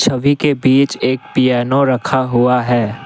सभी के बीच एक पियानो रखा हुआ है।